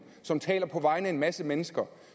som taler på vegne af en masse mennesker og